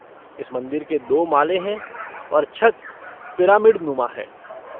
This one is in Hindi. इस मंदिर के दो माले हैं और छत पिरामिडनुमा है।